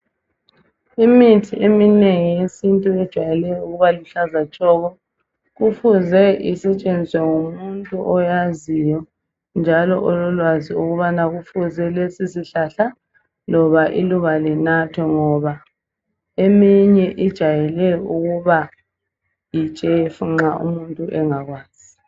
Imithi eminengi yesintu ijwayele ukuba luhlaza tshoko. Kufuze isetshenziswe ngumuntu oyaziyo njalo ololwazi ukubana kufuze lesi sihlahla loba iluba linathwe ngoba elinye lijwayele ukuba yitshefu nxa umuntu engakwazi.